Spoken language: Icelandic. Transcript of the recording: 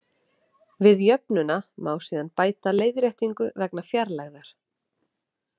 Við jöfnuna má síðan bæta leiðréttingu vegna fjarlægðar.